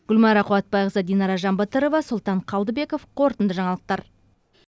гүлмайра қуатбайқызы динара жанбатырова сұлтан қалдыбеков қорытынды жаңалықтар